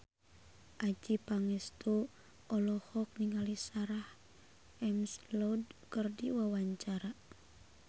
Adjie Pangestu olohok ningali Sarah McLeod keur diwawancara